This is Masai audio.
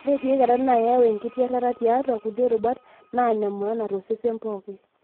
ore teikata na keyau engitirata tiatua kulie rubat na nemaana tosesen pooki,